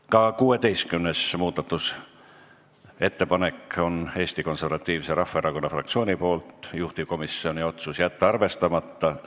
Ka 16. muudatusettepanek on Eesti Konservatiivse Rahvaerakonna fraktsioonilt, juhtivkomisjoni otsus: jätta arvestamata.